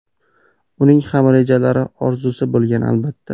Uning ham rejalari, orzusi bo‘lgan, albatta.